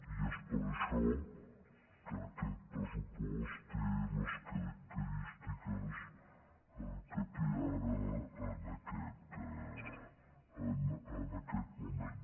i és per això que aquest pressupost té les característiques que té ara en aquest moment